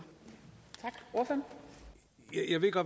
efter